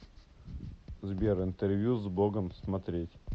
сбер интервью с богом смотреть